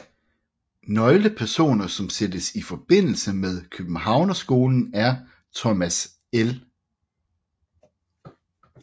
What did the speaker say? Nøglepersoner som sættes i forbindelse med Københavnerskolen er Thomas L